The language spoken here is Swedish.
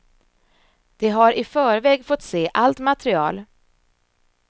De har i förväg fått se allt material.